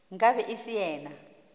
nka be e se yena